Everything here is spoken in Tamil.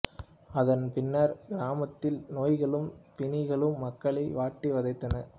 அதன் பின்னர் கிராமத்தில் நோய்களும் பிணிகளும் மக்களை வாட்டி வதைத்தன